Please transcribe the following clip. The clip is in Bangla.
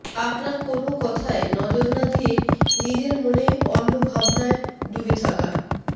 আপনার কোনও কথায় নজর না দিয়ে নিজের মনে অন্য ভাবনায় ডুবে থাকা